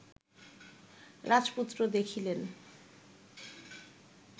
রাজপুত্র দেখিলেন